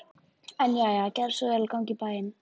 En jæja, gerðu svo vel að ganga í bæinn.